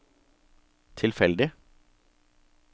tilfeldig